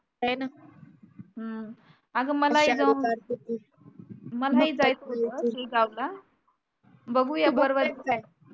बघूया